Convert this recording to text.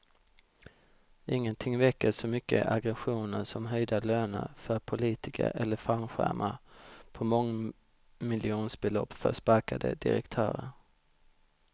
Ingenting väcker så mycket aggressioner som höjda löner för politiker eller fallskärmar på mångmiljonbelopp för sparkade direktörer.